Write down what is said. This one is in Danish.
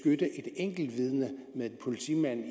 et enkelt vidne med en politimand